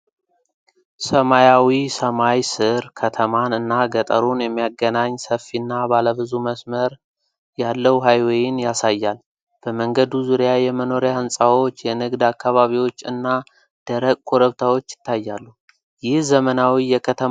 ሰማያዊ ሰማይ ስር፣ ከተማን እና ገጠሩን የሚያገናኝ ሰፊና ባለ ብዙ መስመር ያለው ሀይዌይን ያሳያል። በመንገዱ ዙሪያ የመኖሪያ ሕንፃዎች፣ የንግድ አካባቢዎች እና ደረቅ ኮረብታዎች ይታያሉ፤ ይህ ዘመናዊ የከተማ አቀማመጥን አይወክልም?